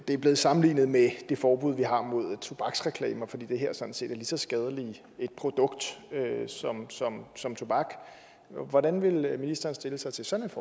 det er blevet sammenlignet med det forbud vi har mod tobaksreklamer fordi det her sådan set er et lige så skadeligt produkt som tobak hvordan vil ministeren stille sig til sådan